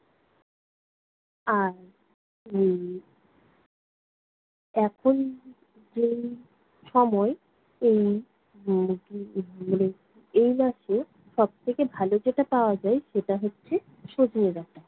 আর উম এখন যেই সময় এই উম এই মাসে সবথেকে ভালো যেটা পাওয়া যায়, সেটা হচ্ছে- সজনে ডাঁটা